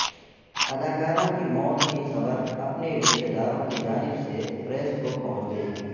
اداکاروں کی موت کی خبر اپنے رشتہ داروں کی جانب سے پریس کو پہنچ گئی